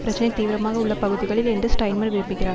பிரச்சினை தீவிரமாக உள்ள பகுதிகளில் என்று ஸ்ட்ரைன்மர் விரும்புகிறார்